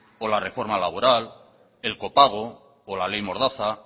o la reforma laboral el copago o la ley mordaza